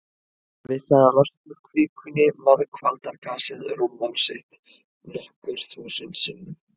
Við það að losna úr kvikunni margfaldar gasið rúmmál sitt nokkur þúsund sinnum.